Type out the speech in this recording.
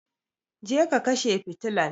Je ka kashe fitilan!